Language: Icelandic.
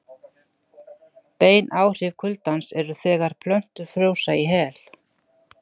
Bein áhrif kuldans eru þegar plöntur frjósa í hel.